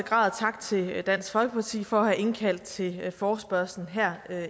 grad tak til dansk folkeparti for at have indkaldt til forespørgslen her